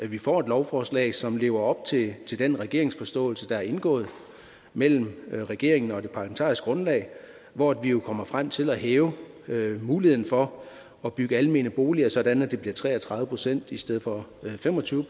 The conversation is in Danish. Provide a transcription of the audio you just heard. vi får et lovforslag som lever op til til den regeringsforståelse der er indgået mellem regeringen og det parlamentariske grundlag hvor vi jo kommer frem til at hæve muligheden for at bygge almene boliger sådan at det bliver tre og tredive procent i stedet for fem og tyve